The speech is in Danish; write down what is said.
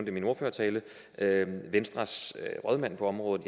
i min ordførertale venstres rådmand på området